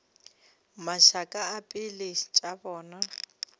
mašaka a pelo tša bona